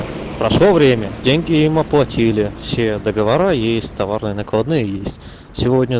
прошло время деньги им оплатили все договора есть товарные накладные есть